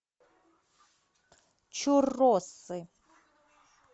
чурросы